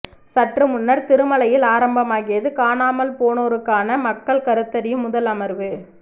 சற்று முன்னர் திருமலையில் ஆரம்பமாகியது காணாமல் போனோருக்கான மக்கள் கருத்தறியும் முதல் அமர்வு